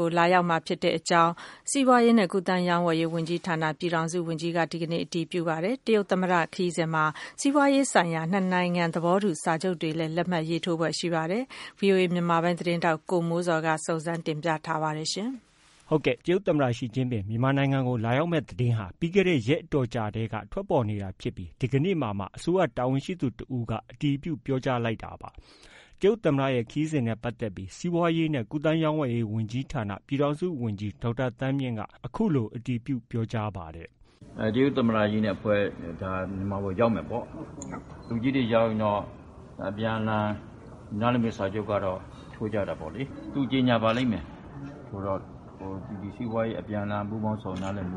ကို လာရောက်မှာဖြစ်ကြောင်း စီးပွားရေးနဲ့ကူးသန်းရောင်းဝယ်ရေးဝန်ကြီးဌာန ပြည်ထောင်စုဝန်ကြီးက ဒီနေ့ အတည်ပြုပြောကြားလိုက်ပါတယ်။ တရုတ်သမ္မတခရီးစဉ်မှာ စီးပွားရေးဆိုင်ရာ နှစ်နိုင်ငံသဘောတူစာချုပ်တွေ လက်မှတ်ရေးထိုးဖွယ်ရှိနေပါတယ်။ ဒီသတင်းကိုတော့ ဗွီအိုအေမြန်မာပိုင်းရဲ့သတင်းထောက် ကိုမိုးဇော်က တင်ပြထားပါတယ်။ တရုတ်သမ္မတ Xi Jinping မြန်မာနိုင်ငံကိုလာရောက်မယ့်သတင်းဟာ ပြီးခဲ့တဲ့ရက်အတော်ကြာထဲက ထွက်ပေါ်နေတာဖြစ်ပြီး ဒီကနေ့မှာမှ အစိုးရတာဝန်ရှိသူတစ်ဦးက တရားဝင်အတည်ပြုပြောကြားလိုက်တာပါ။ တရုတ်သမ္မတရဲ့ ခရီးစဉ်နဲ့ပတ်သက်ပြီး စီးပွားရေးနဲ့ ကူးသန်းရောင်းဝယ်ရေးဝန်ကြီးဌာန ပြည်ထောင်စုဝန်ကြီး ဒေါက်တာသန်းမြင့်က အခုလို အတည်ပြုပြောကြားပါတယ်။ “ တရုတ်သမ္မတကြီးနဲ့ အဖွဲ့ ဒီမှာရောက်မယ်ပေါ့။ လူကြီးတွေရောက်ရင်တော့ အပြန်အလှန် နားလည်စာချုပ်ကတော့ ထိုးကြတာပေါ့လေ။ သူကြေညာပါလိမ့်မယ် စီးပွားရေးအပြန်အလှန်ပူးပေါင်းဆောင်ရွက်တာတွေ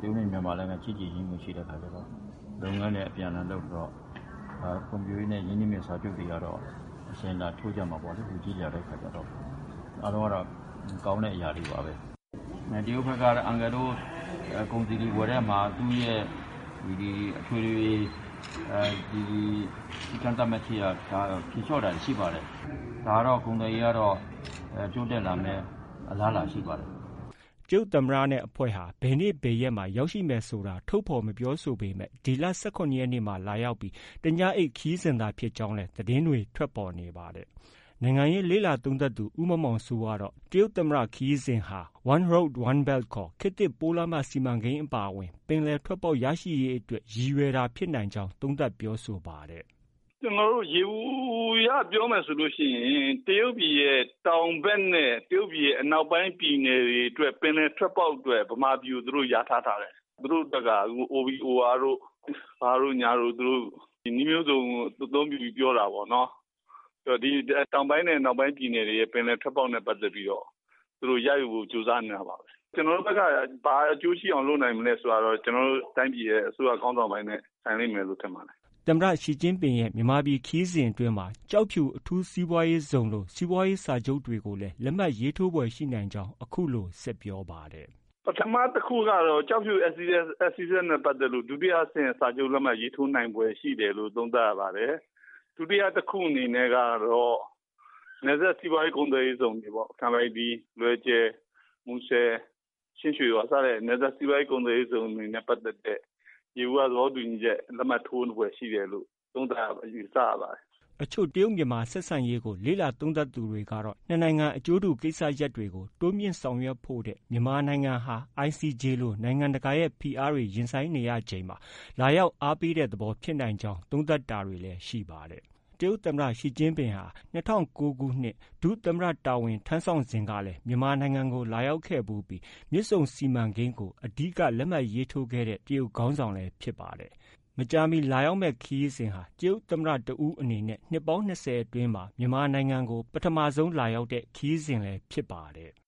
ဒီပြင် လုပ်ငန်းအပြန်အလှန်လုပ်တာတွေ၊ ဖွံ့ဖြိုးရေးနဲ့ ရင်းနှီးမြှုပ်နှံတဲ့ စာချုပ်တွေ ထိုးကြမှာပေါ့နော် လူကြီးတွေကတော့။ အားလုံးကတော့ ကောင်းတဲ့အရာတွေ ပါပဲ။ တရုတ်ဘက်ကလည်း အန်ကယ်တို့ ကုန်စည်တွေ ဝယ်တဲ့အခါမှာ သူတို့ရဲ့ အထွေထွေ ကန့်သတ်ချက်ထားတာတွေ ဖြေလျော့တာတွေ ရှိပါတယ်။ ဒါကတော့ ကုန်သွယ်ရေးကတော့ တိုးတက်လာမယ့် အလားအလာရှိပါတယ်။" တရုတ်သမ္မတဘယ်နေ့ ဘယ်ရက်မှာ ရောက်ရှိမယ်ဆိုတာ ထုတ်ဖော်မပြောဆိုပေမဲ့ ဒီလ ၁၇ရက်နေ့မှာ လာရောက်ပြီး တစ်ညအိပ်ခရီးစဉ်သာဖြစ်ကြောင်းလည်း သတင်းတွေ ထွက်ပေါ်နေပါတယ်။ နိုင်ငံရေးလေ့လာသုံးသပ်သူ ဦးမောင်မောင်စိုးကတော့ တရုတ်သမ္မတ ခရီးစဉ်နဲ့ဟာ One Belt One Road ခေါ် ခေတ်သစ်ပိုးလမ်းမ စီမံကိန်း အပါအဝင် ပင်လယ်ထွက်ပေါက်ရရှိရေးအတွက် ရည်ရွယ်တာဖြစ်နိုင်ကြောင်း သုံးသပ်ပြောဆိုပါတယ်။ “ ကျနော်တို့ ယေဘုယျပြောမယ်ဆိုရင် တရုတ်ပြန်ရဲ့ တောင်ဘက်နဲ့ တရုတ်ပြည်ရဲ့အနောက်ပိုင်းပြည်နယ် တွေအတွက် ပင်လယ်ထွက်ပေါက်အတွက် ဗမာပြည်ကို သူတို့ လျာထားထားတယ်။ သူတို့အတွက်က OBOR တို့ ဘာတို့ညာတို့ နည်းမျိုးစုံ အသုံးပြုပြီးပြောတာပေါ့နော်။ တောင်ပိုင်းနဲ့အနောက်ပိုင်းပြည်နယ်တွေရဲ့ ပင်လယ်ထွက်ပေါက်နဲ့ပတ်သက်ပြီးတော့ ရယူဖို့ ကြိုးစားနေတာပါပဲ။ ကျနော်တို့ဘက်က ဘာအကျိုးရှိအောင်လုပ်နိုင်မလဲဆိုတာကတော့ ကျနော်တို့ တိုင်းပြည်ရဲ့ အစိုးရခေါင်းဆောင်ပိုင်းနဲ့ ဆိုင်လိမ့်မယ်လို့ ထင်ပါတယ်။ ” သမ္မတ Xi Jinpingရဲ့ မြန်မာပြည်ခရီးစဉ်အတွင်းမှာ ကျောက်ဖြူအထူးစီးပွားရေးဇုံလို စီးပွားရေးစာချုပ်တွေကို လက်မှတ် ရေးထိုးနိုင်ဖွယ်ရှိကြောင်းလည်း အခုလို ဆက်ပြောပါတယ်။ “ ပထမတစ်ခုကတော့ ကျောက်ဖြူ SEZ နဲ့ပတ်သက်လို့ ဒုတိယအဆင့် လက်မှတ်ရေးထိုးနိုင်ဖွယ်ရှိတယ်လို့ သုံးသပ်ရပါတယ်။ ဒုတိယတစ်ခုအနေနဲ့က နယ်စပ်စီးပွားရေးကုန်သွယ်ရေးဇုံတွေပေါ့ ကန်ပိုက်တီး၊ လွယ်ဂျယ်၊ မူဆယ်၊ ချင်းရွှေဟော် စတဲ့ နယ်စပ်စီးပွားရေးကုန်သွယ်ရေးဇုံတွေနဲ့ပတ်သက်တဲ့ ယေဘူယျသဘောတူညီချက် လက်မှတ်ထိုးဖွယ်ရှိတယ်လို့ သုံးသပ်ရပါတယ်။ ” အချို့ တရုတ်-မြန်မာဆက်ဆံရေးကို လေ့လာသုံးသပ်သူတွေကတော့ နှစ်နိုင်ငံအကျိုးတူကိစ္စရပ်တွေကို တိုးမြှင့်ဆောင်ရွက်ဖို့ထက် မြန်မာနိုင်ငံဟာ ICJ လို နိုင်ငံတကာရဲ့ ဖိအားတွေ ရင်ဆိုင်နေရချိန်မှာ လာရောက်အားပေးတဲ့ သဘောဖြစ်နိုင်ကြောင်းသုံးသပ်တာတွေ ရှိပါတယ်။ တရုတ်သမ္မတ Xi Jinpingဟာ ၂၀၀၉ခုနှစ် သူ ဒု သမ္မတ တာဝန်ထမ်းဆောင်စဉ်ကလည်း မြန်မာနိုင်ငံကို လာရောက်ခဲ့ဖူးပြီး မြစ်ဆုံစီမံကိန်းကို အဓိက လက်မှတ်ရေးထိုးခဲ့တဲ့ တရုတ်ခေါင်းဆောင်လည်းဖြစ်ပါတယ်။ ဒီခရီးစဉ်ဟာ တရုတ်သမ္မတတစ်ဦးအနေနဲ့ နှစ်ပေါင်း၂၀အတွင်း မြန်မာနိုင်ငံကို ပထမဆုံးလာရောက်တဲ့ ခရီးစဉ်လည်း ဖြစ်ပါတယ်။